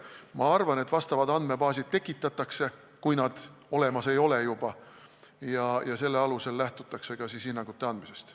Ma arvan, et vastavad andmebaasid tekitatakse, kui neid juba olemas ei ole, ja neist lähtutakse ka hinnangute andmisel.